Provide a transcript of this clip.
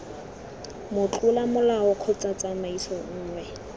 motlola molao kgotsa tsamaiso nngwe